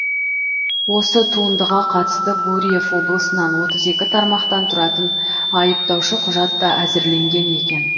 осы туындыға қатысты гурьев облысынан отыз екі тармақтан тұратын айыптаушы құжат та әзірленген екен